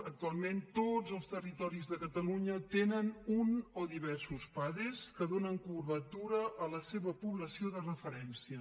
actualment tots els territoris de catalunya tenen un o diversos pades que donen cobertura a la seva població de referència